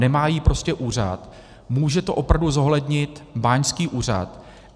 Nemá ji prostě úřad, může to opravdu zohlednit báňský úřad.